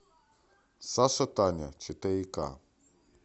саша таня четыре ка